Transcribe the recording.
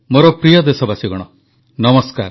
ମୋର ପ୍ରିୟ ଦେଶବାସୀଗଣ ନମସ୍କାର